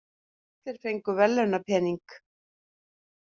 Allir fengu verðlaunapening